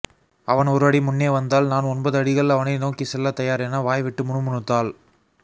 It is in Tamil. அவன் ஒரு அடி முன்னே வந்தால் நான் ஒன்பது அடிகள் அவனை நோக்கி செல்லத்தயார் என வாய்விட்டு முணுமுணுத்தாள்